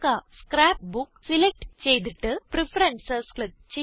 scrap book select ചെയ്തിട്ട് preferences click ചെയ്യുക